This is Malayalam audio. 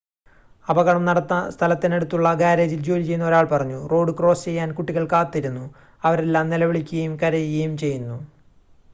"അപകടം നടന്ന സ്ഥലത്തിനടുത്തുള്ള ഗാരേജിൽ ജോലി ചെയ്യുന്ന ഒരാൾ പറഞ്ഞു: "റോഡ് ക്രോസ് ചെയ്യാൻ കുട്ടികൾ കാത്തിരുന്നു അവരെല്ലാം നിലവിളിക്കുകയും കരയുകയും ചെയ്യുന്നു.""